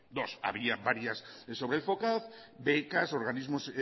dos había varias sobre el focaz becas organismos